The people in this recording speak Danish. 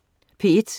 P1: